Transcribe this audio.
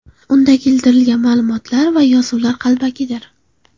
Unda keltirilgan ma’lumotlar va yozuvlar qalbakidir.